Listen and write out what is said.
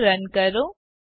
code run કરો